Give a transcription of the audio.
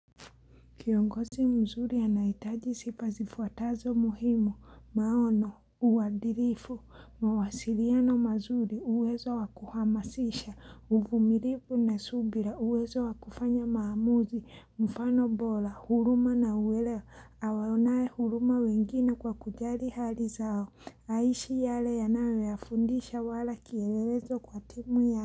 Kiongozi mzuri anahitaji sifa zifuatazo muhimu, maono, uadilifu, mawasiliano mazuri, uwezo wakuhamasisha, uvumilifu na subira, uwezo wakufanya maamuzi, mfano bora, huruma na uwelewa, awaonae huruma wengine kwa kujali hali zao, aishi yale yanayofundisha wala kielelezo kwa timu ya.